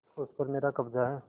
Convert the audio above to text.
उस पर मेरा कब्जा है